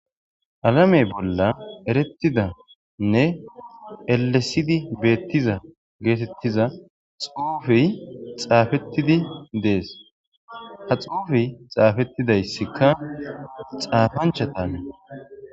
alame bolla erettidanne elesidi beettiza geetettiza xuufi xaafettidi dees, ha xuufey xaafettidayssikka xaafanchatan